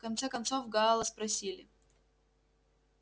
в конце концов гаала спросили